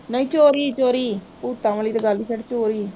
ਨਈ ਚੋਰੀ ਚੋਰੀ, ਭੂਤਾਂ ਵਾਲੀ ਤੇ ਗੱਲ ਈ ਛੱਡ ਚੋਰੀ